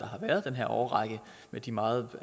har været den her årrække med de meget